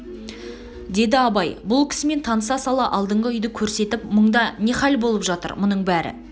деді абай бұл кісімен таныса сала алдыңғы үйді көрсетіп мұнда не хал болып жатыр бұның бәрі